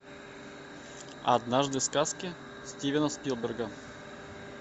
однажды в сказке стивена спилберга